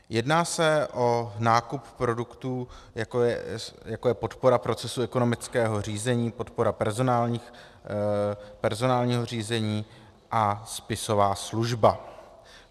Jedná se o nákup produktů, jako je podpora procesu ekonomického řízení, podpora personálního řízení a spisová služba.